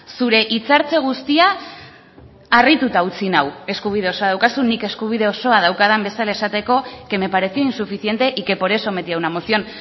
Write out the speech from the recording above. zure hitzartze guztia harrituta utzi nau eskubide osoa daukazu nik eskubide osoa daukadan bezala esateko que me pareció insuficiente y que por eso metí a una moción